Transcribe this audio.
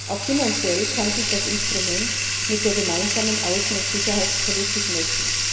Auch finanziell kann sich das Instrument mit der gemeinsamen Außen und Sicherheitspolitik messen.